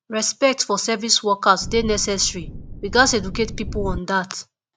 respect for service workers dey necessary we gats educate pipo on dat